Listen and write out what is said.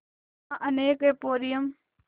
यहाँ अनेक एंपोरियम